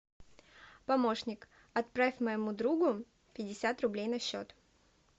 помощник отправь моему другу пятьдесят рублей на счет